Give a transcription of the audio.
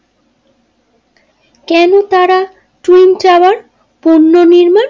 পণ্যনির্মান।